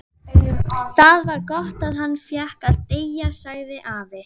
Það var gott að hann fékk að deyja sagði afi.